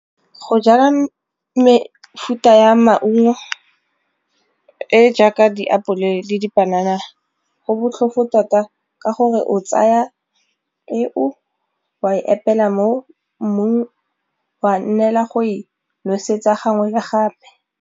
Go jala mefuta ya maungo e jaaka diapole le dipanana go botlhofo tota ka gore o tsaya peo wa e eela mo mmung wa nnela go e nosetsa gangwe le gape.